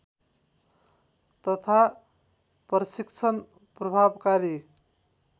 तथा प्रशिक्षण प्रभावकारी